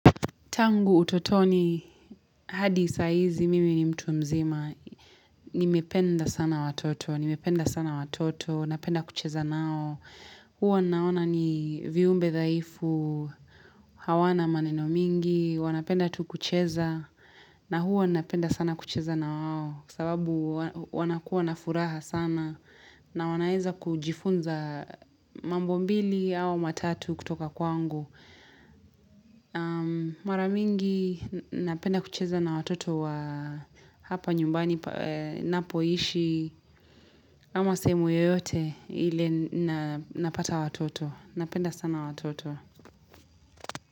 Tangu utotoni, hadi saizi mimi ni mtu mzima, nimependa sana watoto, napenda kucheza nao, huwa naona ni viumbe dhaifu, hawana maneno mingi, wanapenda tu kucheza, na huwa napenda sana kucheza nawao, sababu wanakuwa na furaha sana, na wanaeza kujifunza mambo mbili au matatu kutoka kwangu. Mara mingi napenda kucheza na watoto wa hapa nyumbani napoishi ama sehemu yoyote ile napata watoto Napenda sana watoto.